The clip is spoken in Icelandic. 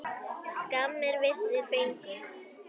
Skammir vissir fengu.